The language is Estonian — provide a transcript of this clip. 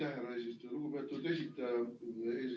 Aitäh, härra eesistuja!